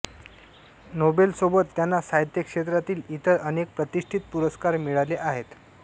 नोबेलसोबत त्यांना साहित्य क्षेत्रातील इतर अनेक प्रतिष्ठित पुरस्कार मिळाले आहेत